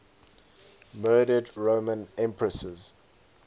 murdered roman empresses